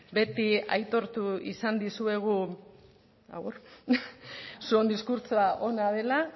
beti aitortu izan dizuegu zuon diskurtsoa ona dela